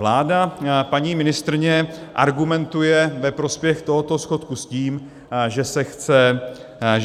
Vláda, paní ministryně argumentuje ve prospěch tohoto schodku s tím, že